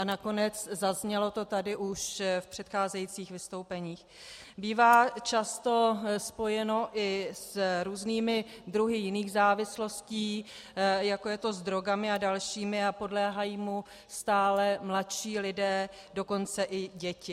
A nakonec, zaznělo to tady už v předcházejících vystoupeních, bývá často spojeno i s různými druhy jiných závislostí, jako je to s drogami a dalšími, a podléhají mu stále mladší lidé, dokonce i děti.